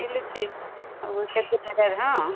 ମିଳୁଛି ହଁ